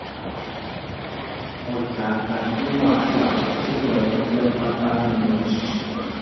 ọjà gbajúmọ̀ àti àkọsílẹ̀ wọn jẹ́ pátá nínú àṣùwọ̀n.